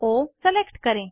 ओ select करें